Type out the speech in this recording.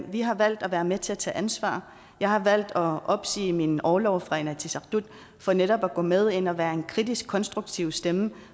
vi har valgt at være med til at tage ansvar jeg har valgt at opsige min orlov fra inatsisartut for netop at gå med ind og være en kritisk konstruktiv stemme